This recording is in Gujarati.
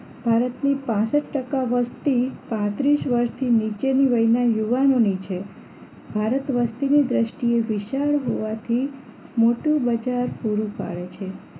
ભારતની પાંસઠ ટકા વસ્તી પાંત્રીસ વર્ષથી નીચેની વહી ના યુવાનોની છે ભારત વસ્તીની દ્રષ્ટિએ વિશાળ હોવાથી મોટું બજાર પૂરું પાડે છે